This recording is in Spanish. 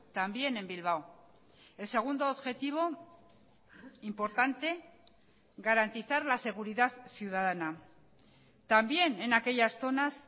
también en bilbao el segundo objetivo importante garantizar la seguridad ciudadana también en aquellas zonas